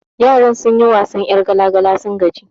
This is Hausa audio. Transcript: Yaran sun yi wasan 'yar gala gala sun gaji